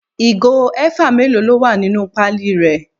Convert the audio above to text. Ìgò eva mélòó ló wà nínú pali rẹ?